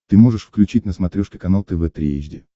ты можешь включить на смотрешке канал тв три эйч ди